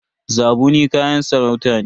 Zabuni kayan sarauta ne.